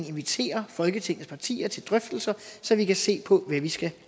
invitere folketingets partier til drøftelser så vi kan se på hvad vi skal